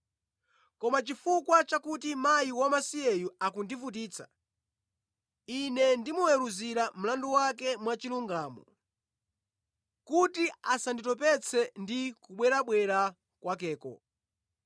koma chifukwa chakuti mkazi wamasiyeyu akundivutitsa, ine ndimuweruzira mlandu wake mwachilungamo kuti asanditopetse ndi kubwerabwera kwakeko!’ ”